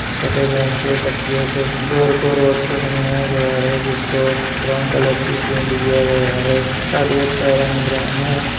सफेद रंग के पट्टियों से घर को रोड से बनाया गया है जिसको ब्राउन कलर की पेंट दिया गया है कार्डबोर्ड का रंग ब्राउन है।